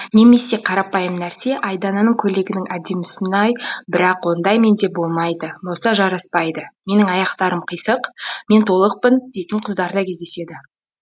немесе қарапайым нәрсе айдананың көйлегінің әдемісін ай бірақ ондай менде болмайды болса жараспайды менің аяқтарым қисық мен толықпын дейтін қыздар да кездеседі